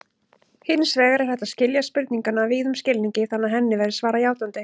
Hins vegar er hægt að skilja spurninguna víðum skilningi þannig að henni verði svarað játandi.